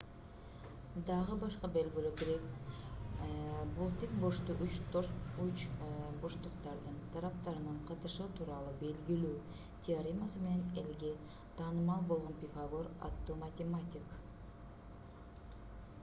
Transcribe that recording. дагы башка белгилүү грек бул тик бурчтуу үч бурчтуктардын тараптарынын катышы тууралуу белгилүү теоремасы менен элге таанымал болгон пифагор аттуу математик